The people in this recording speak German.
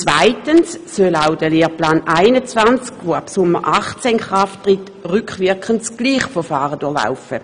Zweitens soll auch der Lehrplan 21, der ab Sommer 2018 in Kraft tritt, rückwirkend dasselbe Verfahren durchlaufen.